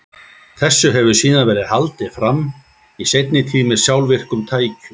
Þessu hefur síðan verið haldið áfram, í seinni tíð með sjálfvirkum tækjum.